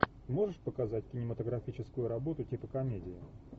можешь показать кинематографическую работу типа комедии